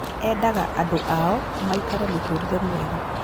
Endaga andũ ao maikare mũtũrĩre mwega